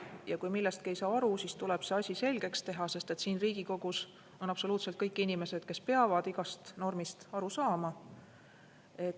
Ja kui millestki ei saa aru, siis tuleb see asi selgeks teha, sest siin Riigikogus on absoluutselt kõik inimesed, kes peavad igast normist aru saama.